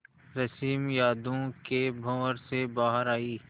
रश्मि यादों के भंवर से बाहर आई